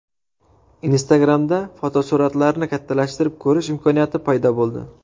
Instagram’da fotosuratlarni kattalashtirib ko‘rish imkoniyati paydo bo‘ldi.